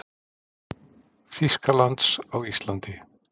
Þýskalands á Íslandi.